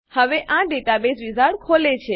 હવે આ database wizard ખોલે છે